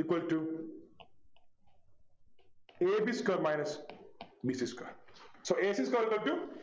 equal to a b square minus b c square so a c square is equal to